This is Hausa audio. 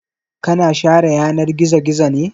Ka na share yanar gizo-gizo ne?